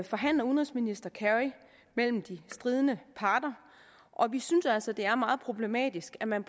forhandler udenrigsminister kerry med med de stridende parter og vi synes altså det er meget problematisk at man